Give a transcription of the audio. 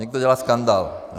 Někdo dělá skandál.